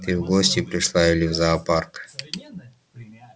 ты в гости пришла или в зоопарк